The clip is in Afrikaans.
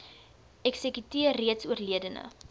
eksekuteur reeds oorledene